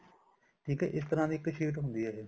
ਠੀਕ ਆ ਇਸ ਤਰ੍ਹਾਂ ਦੀ ਇੱਕ sheet ਹੁੰਦੀ ਏ ਇਹ